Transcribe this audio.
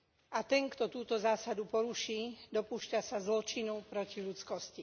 A ten, kto túto zásadu poruší, dopúšťa sa zločinu proti ľudskosti.